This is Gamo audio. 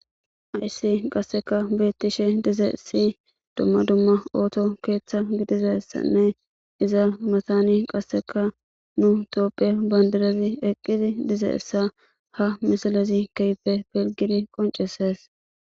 ayssi qasseka beettishe dize si dumma dumma ooto keeththa gidizassanne iza matani qasseka nu toophiya bandirazi eqqizi dize essa ha misalezi keype pilgidi qoncesees